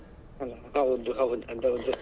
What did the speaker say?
ಅಲ್ಲಾ ಹೌದು ಹೌದು ಅದ್ ಹೌದು.